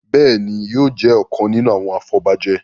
Béèni yóò jé ọkàn nínú àwọn afobaje.